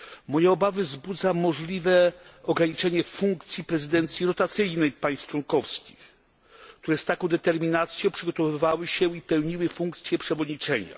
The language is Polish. Moje obawy wzbudza możliwe ograniczenie funkcji prezydencji rotacyjnej państw członkowskich, które z taką determinacją przygotowywały się i pełniły funkcję przewodniczenia.